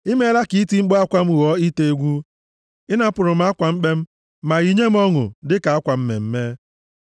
I meela ka iti mkpu akwa m ghọọ ite egwu; ị napụrụ m akwa mkpe m, ma yinye m ọṅụ dịka akwa mmemme.